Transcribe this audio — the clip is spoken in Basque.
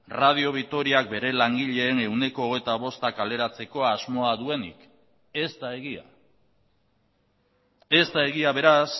radio vitoriak bere langileen ehuneko hogeita bostak kaleratzeko asmoa duenik ez da egia ez da egia beraz